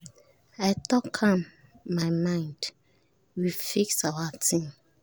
i talk am my mind we fix our ting